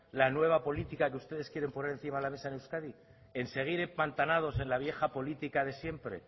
la nueva política que ustedes quieren poner encima de la mesa en euskadi en seguir empantanados en la vieja política de siempre